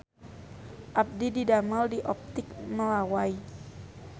Abdi didamel di Optik Melawai